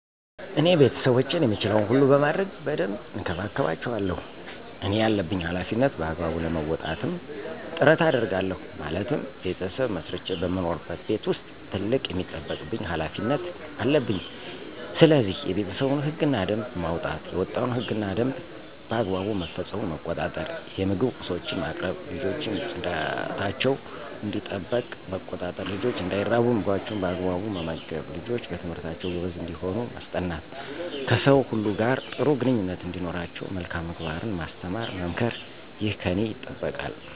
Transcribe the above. እኔ ቤተሰቦቼን የምችለዉን ሁሉ በማድረግ በደንብ እንከባከባቸዋለሁ እኔ ያለብኝን ሀላፊነት በአግባቡ ለመወጣትም ጥረት አደርጋለሁ ማለትም "ቤተሰብ መስርቼ በምኖርበት ቤት ዉስጥ ትልቅ የሚጠበቅብኝ ሀላፊነት" አለብኝስለዚህ፦ የቤተሰቡን ህግ እና ደንብ ማዉጣት፣ የወጣዉ ህግ እና ደንብ በአግባቡ መፈፀሙን መቆጣጠር፣ የምግብ ቁሶችን ማቅረብ፣ ልጆችን ፅዳታቸዉ እንዲጠበቅ መቆጣጠር፣ ልጆች እንዳይራቡ ምግባቸዉን በአግባቡ መመገብ፣ ልጆች በትምህርታቸዉ ጎበዝ እንዲሆኑ ማስጠናት፣ ከሰዉ ሁሉ ጋር ጥሩ ግንኙነት እንዲኖራቸዉ መልካም ምግባርን ማስተማር መምከር ይህ ከኔ ይጠበቃል።